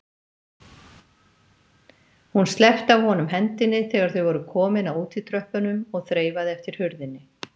Hún sleppti af honum hendinni þegar þau voru komin að útitröppunum og þreifaði eftir hurðinni.